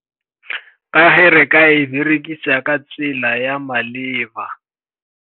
Ka ge re ka e berekisa ka tsela ya maleba.